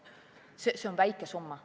See on väike summa.